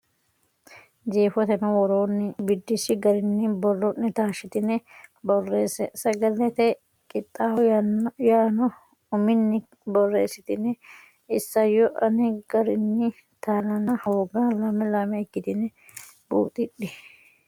Jeefoteno woroonni biddissi garinni boro ne taashshitine borreesse Sagalete Qixxaawo yaanno uminni borreessitini isayyo aane garinni taalanna hooga lame lame ikkitine buuxidhe.